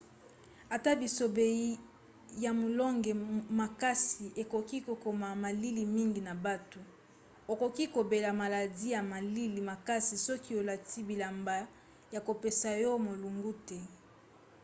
ata bisobe ya molunge makasi ekoki kokoma malili mingi na butu. okoki kobela maladi ya malili makasi soki olati bilamba ya kopesa yo molunge te